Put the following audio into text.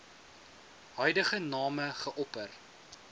huidige name geopper